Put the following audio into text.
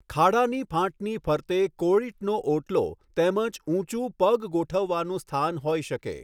ખાડાની ફાંટની ફરતે કૉળીટનો ઓટલો તેમજ ઊંચું પગ ગોઠવવાનું સ્થાન હોઈ શકે.